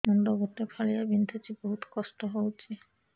ମୁଣ୍ଡ ଗୋଟେ ଫାଳିଆ ବିନ୍ଧୁଚି ବହୁତ କଷ୍ଟ ହଉଚି